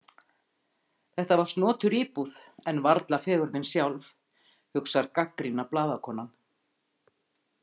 Þetta var snotur íbúð en varla fegurðin sjálf, hugsar gagnrýna blaðakonan.